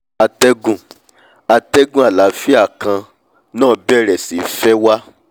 atẹ́gùn atẹ́gùn àlàáfíà kan náà bẹ̀rẹ̀ sí í fẹ́